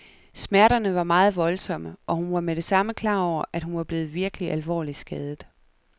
Smerterne var meget voldsomme, og hun var med det samme klar over, at hun var blevet virkelig alvorligt skadet.